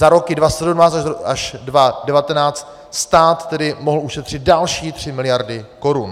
Za roky 2017 až 2019 stát tedy mohl ušetřit další tři miliardy korun.